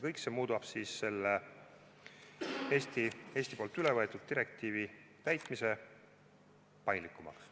Kõik see muudab Eesti poolt üle võetud direktiivi täitmise paindlikumaks.